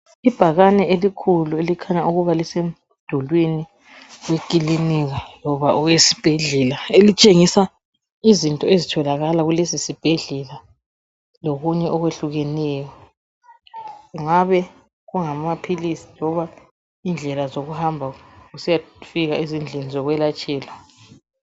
Ibhakane elikhulu elikhanya ukuba lisemdulwini wekilinika loba owesibhedlela elitshengisa izinto ezitholakala kulesisibhedlela lokunye okwehlukeneyo kungabe kungamaphilisi loba indlela zokuhamba usiyafika ezindlini zokwelatshelwa.